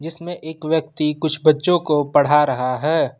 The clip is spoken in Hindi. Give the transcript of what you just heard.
जिसमें एक व्यक्ति कुछ बच्चों को पढ़ा रहा है।